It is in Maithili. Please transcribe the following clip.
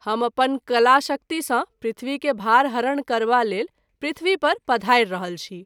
हम अपन कलाशक्ति सँ पृथ्वी के भार हरण करबा लेल पृथ्वी पर पधारि रहल छी।